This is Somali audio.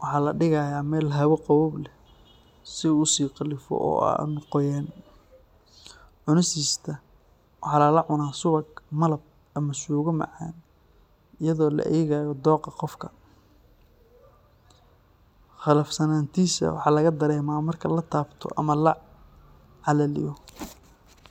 waxaa la dhigayaa meel hawo qabow leh si uu u sii qalfo oo aan u qoyaan. Cunistiisa waxaa lala cunaa subag, malab, ama suugo macaan iyadoo la eegayo dookha qofka. Qalafsanaantiisa waxaa laga dareemaa marka la taabto ama la calaliyo.